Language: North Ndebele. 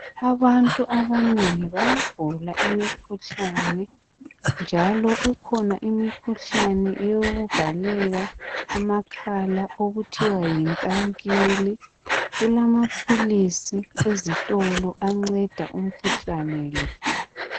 Abantu abanengi bayagula imikhuhlane, njalo ikhona mikhuhlane yokuvaleka amakhala okuthiwa yinkankili. Kulamapilisi ezitholo anceda umkhuhlane lo.